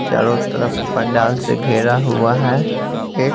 चारों तरफ पंडाल से घेरा हुआ है एक--